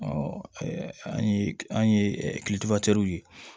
an ye an ye ye